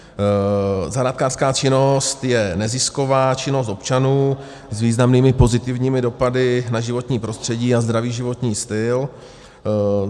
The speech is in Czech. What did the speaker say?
Zahrádkářská činnost je nezisková činnost občanů s významnými pozitivními dopady na životní prostředí a zdravý životní styl.